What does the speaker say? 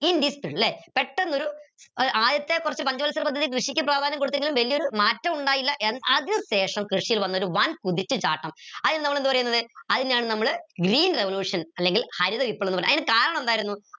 പെട്ടെന്നൊരു ഏർ ആദ്യത്തെ കൊറച്ച് പഞ്ചവത്സര പദ്ധതി കൃഷിക്ക് പ്രാധാന്യം കൊടുത്തെങ്കിലും വലിയൊരു മാറ്റമുണ്ടായില്ല അതിനുശേഷം കൃഷിയിൽ വന്നൊരു കുതിച്ചുചാട്ടം നമ്മളെന്ത് പറീന്നത് അയിനാണ് നമ്മൾ green revolution അല്ലെങ്കി ഹരിത വിപ്ലവം അയിന് കരണമെന്തായിരുന്നു